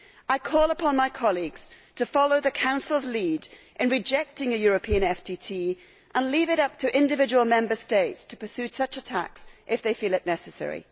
I call upon my colleagues to follow the Council's lead in rejecting a European FTT and to leave it up to individual Member States to pursue such a tax if they feel it necessary.